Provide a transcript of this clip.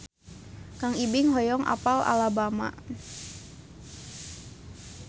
Kang Ibing hoyong apal Alabama